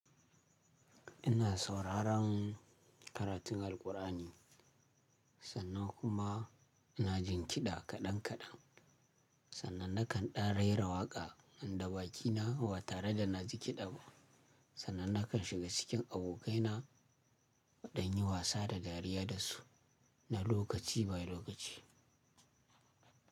Ina sauraron karatun Alqur'ani sannan kuma ina jin kiɗa kaɗan kaɗan. Sannan nakan ɗan raira waƙa nan da baƙi na ba tare da na ji kiɗa. Sannan nakan shiga cikin abokai na don yin wasa da dariya da su na lokaci bayan lokaci.